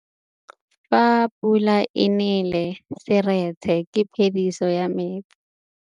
Fa pula e nelê serêtsê ke phêdisô ya metsi.